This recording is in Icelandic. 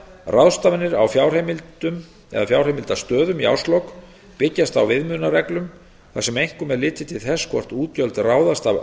ráðstafanir á fjárheimildastöðum í árslok byggjast á viðmiðunarreglum þar sem einkum er litið til þess hvort útgjöld ráðast af